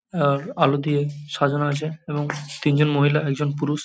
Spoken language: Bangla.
আ আলো দিয়ে সাজানো আছে এবং তিনজন মহিলা একজন পুরুষ ।